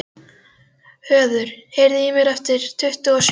Höður, heyrðu í mér eftir tuttugu og sjö mínútur.